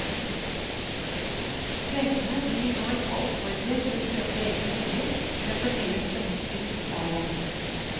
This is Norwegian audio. Trengende blir nå ikke oppfordret til å kjøpe egen bolig, men får heller støtte til husleie.